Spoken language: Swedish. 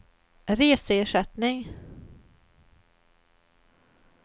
reseersättning